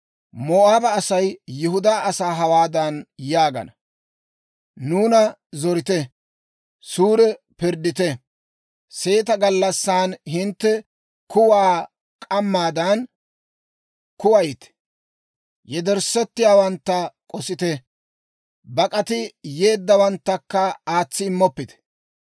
Moo'aaba Asay Yihudaa asaa hawaadan yaagana; «Nuuna zorite; suure pirddite; seeta gallassan hintte kuwaa k'ammaadan kuwayite. Yederssettiyaawantta k'osite; bak'ati yeeddawanttakka aatsi immoppite.